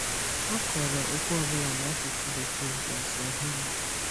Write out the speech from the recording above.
A kọrọ okwu ọ bụla n’asụsụ Bekee na Swahili.